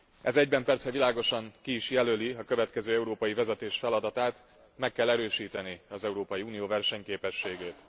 Ez egyben persze világosan ki is jelöli a következő európai vezetés feladatát meg kell erősíteni az Európai Unió versenyképességét.